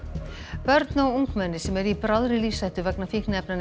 börn og ungmenni sem eru í bráðri lífshættu vegna fíkniefnaneyslu